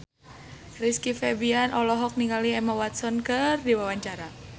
Rizky Febian olohok ningali Emma Watson keur diwawancara